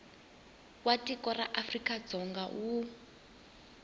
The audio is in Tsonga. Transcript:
wa tiko ra afrikadzonga wu